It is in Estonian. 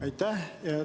Aitäh!